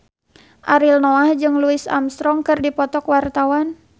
Ariel Noah jeung Louis Armstrong keur dipoto ku wartawan